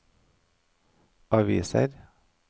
aviser